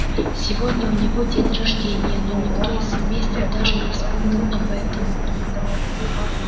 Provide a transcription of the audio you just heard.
сегодня у него день рождения но никто из семейства даже не вспомнил об этом